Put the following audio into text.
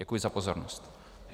Děkuji za pozornost.